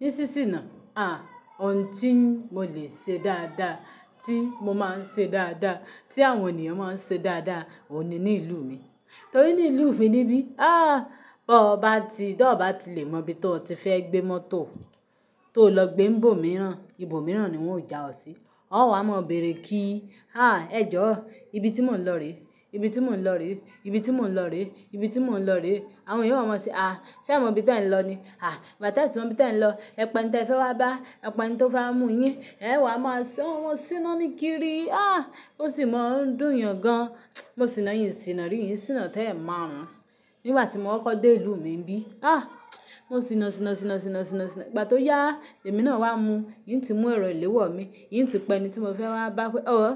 Ní sí sìnà, à, ohun tí mo lè ṣe dáadáa, tí mo máa ń ṣe dáadáa, tí àwọn ènìyàn máa ń ṣe dáadáa, òun ní ní ìlú mi. Torí ní ìlú mi níbí, ah, bó bá ti, bó bá ti lè mọ ibi tó ti fẹ́ gbé mọ́tò, tó lọ gbé n bò mìíràn, ibo mìíràn ni wọ́n ó já ọ sí. Ó wá máa bèrè kí i, ah, ẹ jọ̀ọ́, ibi tí mò ń lọ rèé, ibi tí mò ń lọ rèé, ibi tí mò ń lọ rèé, ibi tí mò ń lọ rèé. Àwọn èeyàn o wa máa se, ah, sé mọ ibi tí ẹ ń lọ ni? Ah, ìgbà tẹ tí mọ ibi tí ẹ ń lọ. Ẹ pẹ̀ n tí ẹ fẹ́ wá bá, ẹ pẹ̀ n tó fẹ́ wa mú yín. Ẹ̀ẹ́ wá máa san, mọ́ sínáaní kiri. Ah, ó sì mọ ń dùn yàn gan. Mo sì na n sìnà, rí n sìnà tó ẹ̀marun. Nígbà tí mo kokọ́ dé ìlú mi n bí, ah, mo sìna sìna sìna sìna sìna sina. Ìgbà tó yá, ni èmi náà wá mu. N ti mú ẹ̀rọ ìléwọ́ mi, n ti pẹ́ ẹni tí mo fẹ́ wá bá pé, ọ̀ọ́,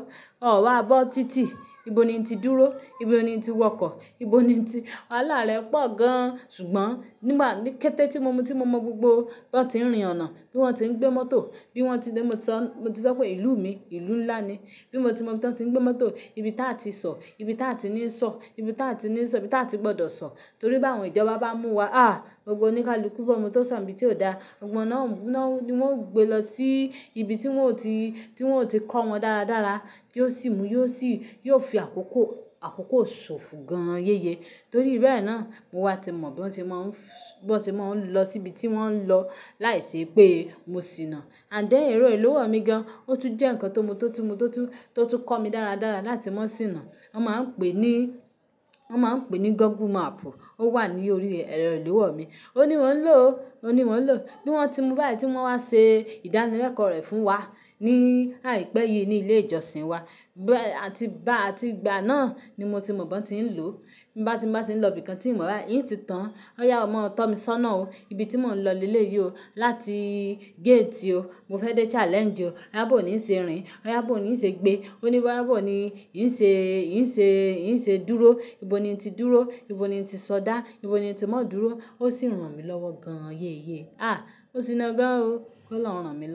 ọ̀ wá bọ́ títì. Ibo ni n ti dúró, ibo ni n ti wọkọ̀, ibo ni n ti wàhálà rẹ pọ̀ gan. Ṣùgbọ́n nígbà ní kété tí mo mo tí mo mọ gbogbo bí wọ́n ti ń rìn ọ̀nà, bí wọ́n ti ń gbé mọ́tò, bí wọ́n ti gbé, mo ti sọ, mo ti sọ pé ìlú mi, ìlú ńlá ni. Bí mo ti mọ bí wọ́n ti ń gbé mọ́tò, ibi táa ti sọ, ibi táa ti ní sọ, ibi táa ti ní sọ, ibi táa ti gbọ́dọ̀ sọ. Nítorí bá àwọn ìjọba bá mú wa, ah, gbogbo oníkálukú, bi ọmọ tó sọ̀ n ibi tí ò dáa, gbọ́gbo won náà gbogbò ń mú ná, ni wọ́n ó gbé lọ sí ibi tí wọ́n ò tí, tí wọ́n ò tí kọ́ wọn dára dára, yí ó sì mú, yí ó sì, kí ó fi àkókò, àkókò ṣòfò gan yéye. Nítorí bẹ́ẹ̀ náà, mo wá ti mọ bí wọ́n ti má ń fúú, bí wọ́n ti má ń lọ sí ibi tí wọ́n ń lọ láìṣe pé mo sì na. Ànd then ẹ̀rọ ìléwọ́ mi gan, ó tún jẹ́ nǹkan tó mo tó ti mo tó tún, tó tún kọ́ mi dára dára láti mọ̀ sí na. Wọ́n máa ń pè ní, wọ́n máa ń pè ní Google Map. Ó wà ní orí ẹ̀rọ ìléwọ́ mi. Ó ní mo ń lò ó, ó ní mo ń lò ó. Bí wọ́n ti mú báyìí tí wọ́n wá ṣe ìdánilẹ́kọ̀ọ́ rẹ̀ fún wa ní àìpẹ́ yìí ní ilé ìjọsìn wa. Bẹ́ àti bá àti ìgbà náà ni mo ti mọ bí wọ́n ti ń lò ó. Bo ya ti n bá ti ń lọ ibìkan tí n mo bai, n ti tàn án. Ọ́ yá o mọ, tọ́ mi ṣọ́nà ó. Ibi tí mò ń lọ lé lé yìí ó. Láti gate o, mo fẹ́ dé challenge o. O ya bò ni ń ṣe rìn, o yá bò ni ń ṣe gbé. O ní bò ya bo ni, n ṣe, n ṣe, n ṣe dúró. Ibo ni n ti dúró, ibo ni n ti sọdá, ibo ni n ti má dúró. Ó sì rán mi lọ́wọ́ gan yéye. Ah, mó sìná gan o. Ko Olọrun rán mi.